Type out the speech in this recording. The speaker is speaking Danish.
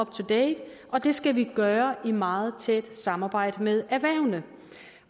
to date og det skal vi gøre i meget tæt samarbejde med erhvervene